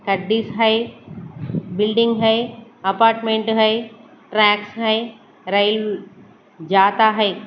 है बिल्डिंग है अपार्टमेंट है ट्रैक है रेल जाता है।